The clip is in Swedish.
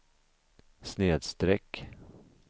snedsträck